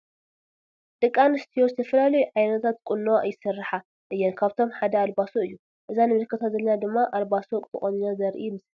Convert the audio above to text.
ደቂ አንስትዬ ዝተፈላለዩ ዓይነታት ቁኖ ይስራሓ እየን ካብአቶም ሓደ አልባሶ እዩ ።አዛ ንምልከታ ዘለና ድማ አልባሶ ተቆኒና ዘረኢ ምስሊ እዩ ።